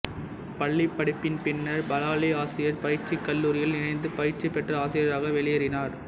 பள்ளிப் படிப்பின் பின்னர் பலாலி ஆசிரியர் பயிற்சிக் கல்லூரியில் இணைந்து பயிற்சி பெற்ற ஆசிரியராக வெளியேறினார்